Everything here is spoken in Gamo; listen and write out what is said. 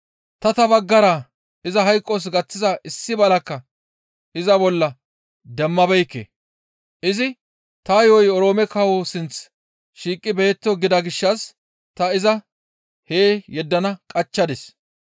Tahi ta baggara iza hayqos gaththiza issi balakka iza bolla demmabeekke; izi, ‹Ta yo7oy Oroome kawo sinth shiiqi beyetto› gida gishshas ta iza hee yeddanaas qachchadis.